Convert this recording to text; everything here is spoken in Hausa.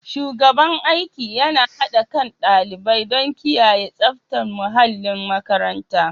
Shugaban aiki yana haɗa kain ɗalibai don kiyaye tsaftar muhallin makaranta.